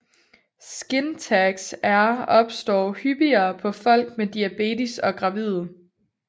Skin tags er opstår hyppigere på folk med diabetes og gravide